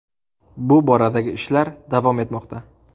Bu boradagi ishlar davom etmoqda”.